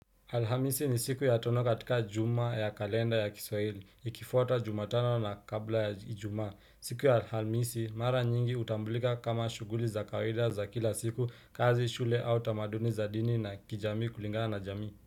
Alhamisi ni siku ya tono katika juma ya kalenda ya kiswahili, ikifwata jumatano na kabla ya ijumas. Siku ya alhamisi, mara nyingi utambulika kama shughuli za kawaida za kila siku, kazi shule au tamaduni za dini na kijamii kulinga na jamii.